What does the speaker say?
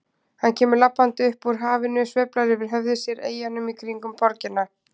Hann kemur labbandi upp úr hafinu og sveiflar yfir höfði sér eyjunum í kringum borgina.